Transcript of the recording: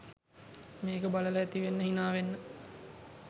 මේක බලල ඇති වෙන්න හිනා වෙන්න.